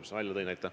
Jürgen Ligi, palun!